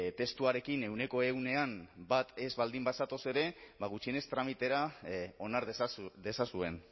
testuarekin ehuneko ehunean bat ez baldin bazatoz ere gutxienez tramitera onar dezazuen